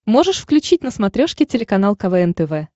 можешь включить на смотрешке телеканал квн тв